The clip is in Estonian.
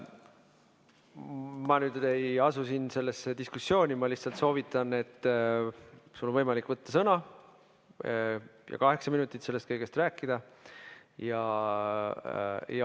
Ma nüüd ei asu siin sellesse diskussiooni, ma lihtsalt soovitan, et sul on võimalik võtta sõna, kaheksa minutit, ja sellest kõigest rääkida.